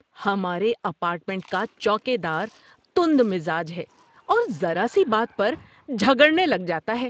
ہمارے اپارٹمنٹ کا چوکیدار تند مزاج ہے اور ذرا سی بات پر جھگڑنے لگ جاتا ہے